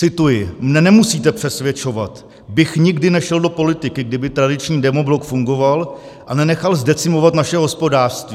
Cituji: "Mne nemusíte přesvědčovat, bych nikdy nešel do politiky, kdyby tradiční demoblok fungoval a nenechal zdecimovat naše hospodářství.